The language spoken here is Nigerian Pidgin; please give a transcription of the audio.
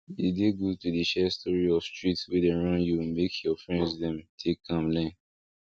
e dey good to dey share story of street wey dem run you make your friends dem take am learn